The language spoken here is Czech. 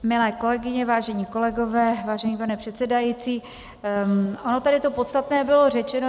Milé kolegyně, vážení kolegové, vážený pane předsedající, ono tady to podstatné bylo řečeno.